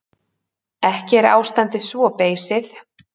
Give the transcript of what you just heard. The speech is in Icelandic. Ekki er ástandið svo beysið.